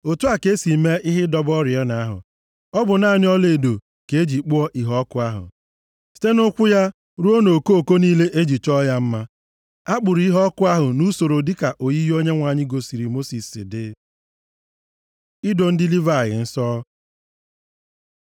Otu a ka esi mee ihe ịdọba oriọna ahụ. Ọ bụ naanị ọlaedo ka e ji kpụọ iheọkụ ahụ, site nʼụkwụ ya ruo nʼokooko niile e ji chọọ ya mma. A kpụrụ iheọkụ ahụ nʼusoro dịka oyiyi Onyenwe anyị gosiri Mosis si dị. Ido ndị Livayị nsọ